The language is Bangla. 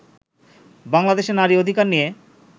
বাংলাদেশে নারী অধিকার নিয়ে